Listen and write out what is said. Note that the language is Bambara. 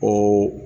O